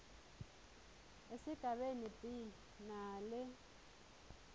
esigabeni b nale